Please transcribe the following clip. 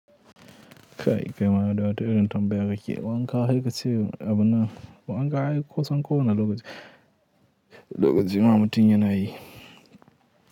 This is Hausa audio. Kai kaima dai da wata irin tambaya ka ke, wanka hekace abunnan wanka ai kusan kowane lokaci, lokaci ma mutum yana yi.